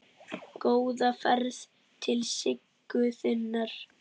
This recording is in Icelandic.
Góða ferð til Siggu þinnar.